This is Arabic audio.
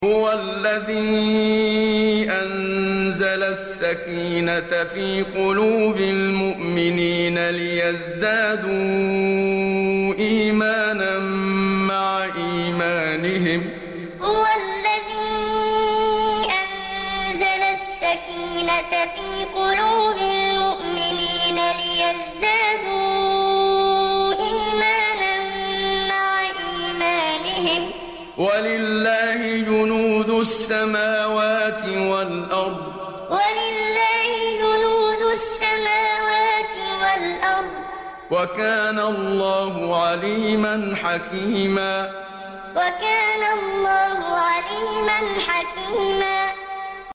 هُوَ الَّذِي أَنزَلَ السَّكِينَةَ فِي قُلُوبِ الْمُؤْمِنِينَ لِيَزْدَادُوا إِيمَانًا مَّعَ إِيمَانِهِمْ ۗ وَلِلَّهِ جُنُودُ السَّمَاوَاتِ وَالْأَرْضِ ۚ وَكَانَ اللَّهُ عَلِيمًا حَكِيمًا هُوَ الَّذِي أَنزَلَ السَّكِينَةَ فِي قُلُوبِ الْمُؤْمِنِينَ لِيَزْدَادُوا إِيمَانًا مَّعَ إِيمَانِهِمْ ۗ وَلِلَّهِ جُنُودُ السَّمَاوَاتِ وَالْأَرْضِ ۚ وَكَانَ اللَّهُ عَلِيمًا حَكِيمًا